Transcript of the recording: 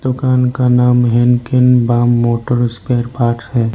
दुकान का नाम हेनकेन बाम मोटर स्पेयर पार्ट्स है।